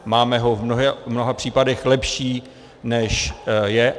Máme ho v mnoha případech lepší, než je.